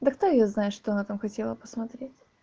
да кто её знает что она там хотела посмотреть